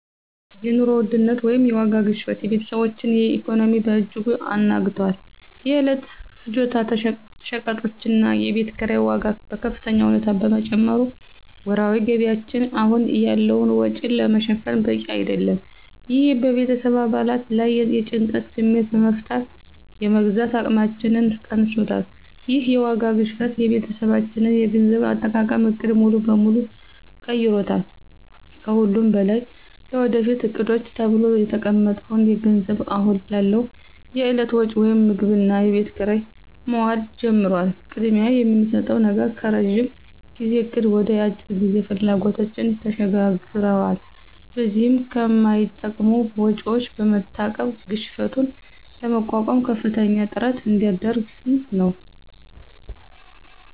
የኑሮ ውድነት (የዋጋ ግሽበት) የቤተሰባችንን ኢኮኖሚ በእጅጉ አናግቷል። የዕለት ፍጆታ ሸቀጦችና የቤት ኪራይ ዋጋ በከፍተኛ ሁኔታ በመጨመሩ ወርሃዊ ገቢያችን አሁን ያለውን ወጪ ለመሸፈን በቂ አይደለም። ይህ በቤተሰብ አባላት ላይ የጭንቀት ስሜት በመፍጠር የመግዛት አቅማችንን ቀንሶታል። ይህ የዋጋ ግሽበት የቤተሰባችንን የገንዘብ አጠቃቀም ዕቅድ ሙሉ በሙሉ ቀይሮታል። ከሁሉም በላይ ለወደፊት ዕቅዶች ተብሎ የተቀመጠው ገንዘብ አሁን ላለው የዕለት ወጪ (ምግብና የቤት ኪራይ) መዋል ጀምሯል። ቅድሚያ የምንሰጠው ነገር ከረዥም ጊዜ እቅድ ወደ የአጭር ጊዜ ፍላጎቶች ተሸጋግሯል። በዚህም ከማይጠቅሙ ወጪዎች በመታቀብ ግሽበቱን ለመቋቋም ከፍተኛ ጥረት እያደረግን ነው።